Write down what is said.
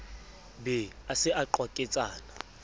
be a se a qwaketsana